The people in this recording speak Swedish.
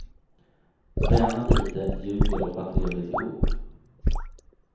Tränar lite, ljuger och har trevligt ihop.